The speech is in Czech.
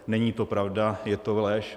Není to pravda, je to lež.